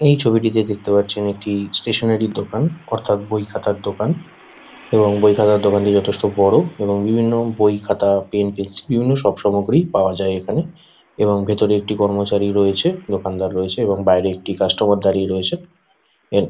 এই ছবিটিতে দেখতে পাচ্ছেন একটি ষ্টেশনারী দোকান অর্থাৎ বইখাতার দোকান এবং বইখাতার দোকানটি যথেষ্ট বড়ো এবং বিভিন্ন বইখাতা পেন পেন্সিল বিভিন্ন সব সামগ্রীই পাওয়া যায় এখানে এবং ভেতরে একটি কর্মচারী রয়েছে দোকানদার রয়েছে এবং বাইরে একটি কাস্টমার দাঁড়িয়ে রয়েছে এন--